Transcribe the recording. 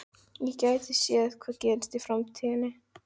Ég gæti séð hvað gerist í framtíðinni.